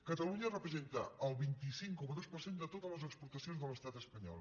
catalunya representa el vint cinc coma dos per cent de totes les exportacions de l’estat espanyol